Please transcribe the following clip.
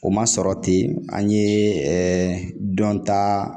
O ma sɔrɔ ten an ye ɛɛ dɔnta